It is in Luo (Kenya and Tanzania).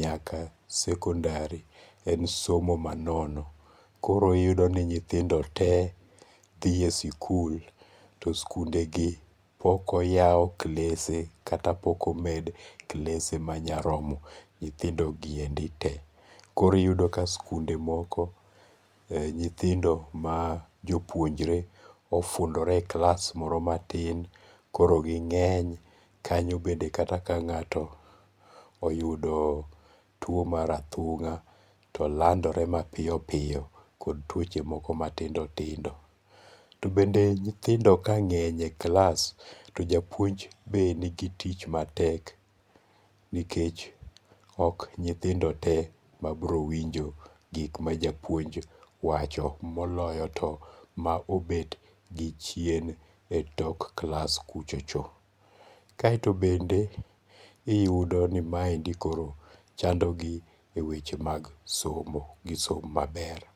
nyaka sekondari en somo ma nono, koro iyudoni nyithindo te dhiye sikul to sikundegi pok yaw klese kata pok omed klese manya romo nyithindogiendi te. Koro iyudo ka skunde moko nyithindo ma jo puonjre ofundore e klas moro matin koro gi nge'ny kanyo bende kata ka nga'to oyudo two mar athunga' to landore mapiyo piyo kod twoche moko matindo tindo, to bende nyithindo moko ka nge'ny e klas to japuonj be nigi tich matek nikech ok nyithindo te ma browinjo gik ma japuonj wacho te, moloyo to ma obet gi chien tok klas kuchocho, kaeto bende iyudo ni maendi koro chandogi e weche mag somo isomo maber